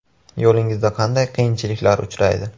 Yo‘lingizda qanday qiyinchiliklar uchraydi?